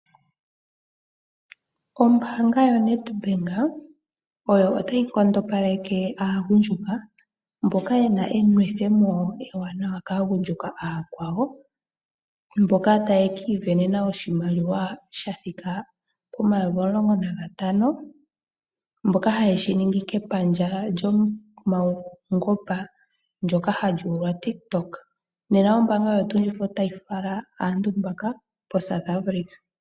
Oombaanga yo NEDBANK oyo tayi nkondopaleke aagundjuka mboka yena enwethemo ewanawa kaagundjuka aakwawo mboka taya ka ivenenena oshimaliwa omayovi omulongo nagtano shoka haye shi ningi kapandja lyopungomba hali ithanwa TikTok .